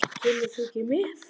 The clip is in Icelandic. Kemur þú ekki með?